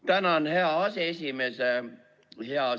Tänan, hea aseesimees!